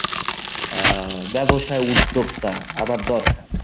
আহ ব্যবসা উদ্যোক্তা আমার দরকার।